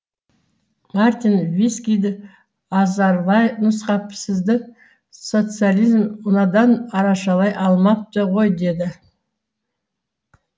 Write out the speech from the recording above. мартин вискиді азарлай нұсқап сізді социализм мынадан арашалай алмапты ғой деді